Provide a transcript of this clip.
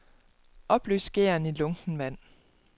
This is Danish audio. Opløs gæren i lunkent vand.